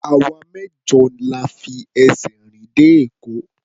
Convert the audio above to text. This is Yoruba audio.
Àwa mẹ́jọ la fi ẹsẹ̀ rìn dé Èkó.